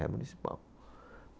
É municipal.